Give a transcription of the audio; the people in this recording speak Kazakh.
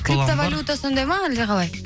криптаволюта сондай ма әлде қалай